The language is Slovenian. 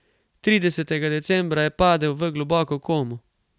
Tridesetega decembra je padel v globoko komo.